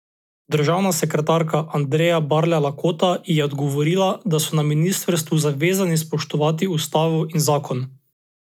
Državna sekretarka Andreja Barle Lakota ji je odgovorila, da so na ministrstvu zavezani spoštovati ustavo in zakon.